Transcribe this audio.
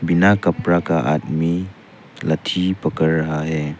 बिना कपड़ा का आदमी लाठी पकड़ रहा है।